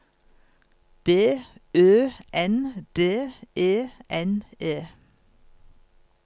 B Ø N D E N E